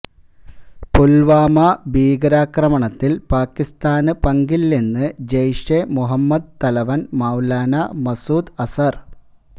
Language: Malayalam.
പുൽവാമ ഭീകരാക്രമണത്തിൽ പാകിസ്ഥാന് പങ്കില്ലെന്ന് ജയ്ഷെ മുഹമ്മദ് തലവൻ മൌലാന മസൂദ് അസർ